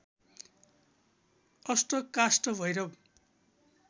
अष्ट काष्ठ भैरव